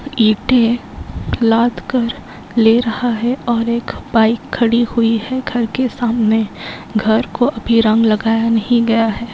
ईटे लाद कर ले रहा है और एक बाइक खड़ी हुई हैं घर के सामने घर को अभी रंग लगाया नहीं गया हैं।